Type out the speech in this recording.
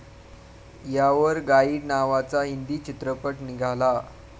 यावर गाईड नावाचा हिंदी चित्रपट निघाला.